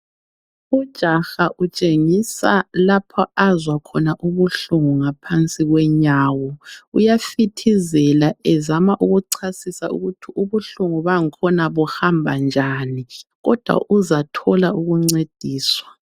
Ijaha utshengisa lapho azwakhona ubuhlungu ngaphansi kwenyawo uyafithizela ezama ukuchasisa ukuthi ubuhlungu bakhona buhamba njani, kodwa uzathola ukuncediswa.